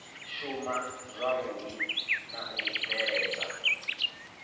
shuma zwavhui na u bveledza